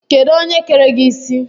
Kedụ onye kere gị isi?